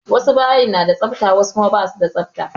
Wasu bayin na da tsafta wasu kuma ba su da tsafta.